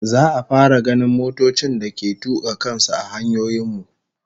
Za'a fara ganin motocin da ke tuka kan su a hanyoyin mu